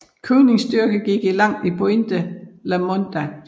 Koenigs styrke gik i land på Pointe La Mondah